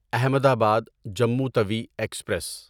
احمد آباد جموں توی ایکسپریس